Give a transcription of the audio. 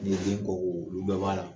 Ni ye den kɔko olu bɛɛ b'a la